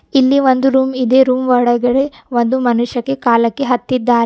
ಇಲ್ಲಿ ಒಂದು ರೂಮ್ ಇದೆ ರೂಮ್ ಒಳಗಡೆ ಒಂದು ಮನುಷ್ಯಕೆ ಕಾಲಕ್ಕೆ ಹತ್ತಿದ್ದಾರೆ ಆ --